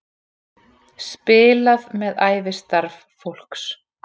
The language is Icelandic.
Spilað með ævistarf fólks